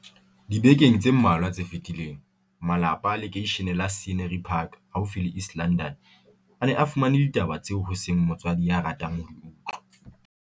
Dibekeng tse mmalwa tse fetileng, malapa a lekeishene la Scenery Park haufi le East London, a ne a fumane ditaba tseo ho seng motswadi ya ratang ho di utlwa.